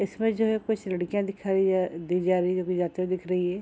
इसमें जो है कुछ लडकियाँ दिखाई जा दी जा रही है जो कि जाते हुए दिख रही है।